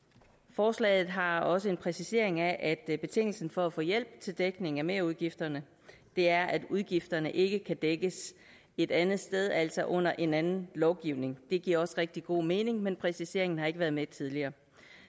forslaget har også en præcisering af at betingelsen for at få hjælp til dækning af merudgifterne er at udgifterne ikke kan dækkes et andet sted altså under en anden lovgivning det giver også rigtig god mening men præciseringen har ikke været med tidligere